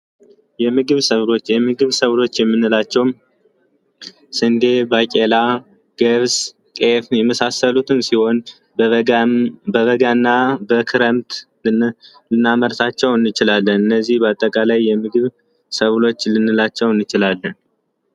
የምግብ ሰብሎች የምግብ ሰብሎች የምንላቸው ሰንዴ ባቄላ ገብስ ጤፍ የመሳሰሉትን ሲሆን በበጋና በክረምት ልናመርታቸው እንችላለን እነዚህን በአጠቃላይ የምግብ ሰብሎች ልንላቸው እንችላለን።